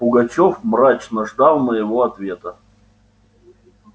пугачёв мрачно ждал моего ответа